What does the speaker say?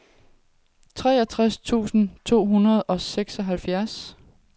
otteogtres tusind to hundrede og seksoghalvfjerds